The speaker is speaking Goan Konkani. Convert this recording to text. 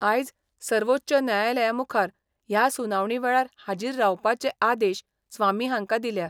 आयज सर्वोच्च न्यायालया मुखार ह्या सुनावणी वेळार हाजीर रावपाचे आदेश स्वामी हांका दिल्या.